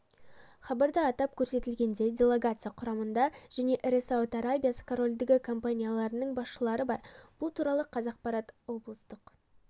хабарда атап көрсетілгендей делегация құрамында және ірі сауд арабиясы корольдігі компанияларының басшылары бар бұл туралы қазақпаратоблыстық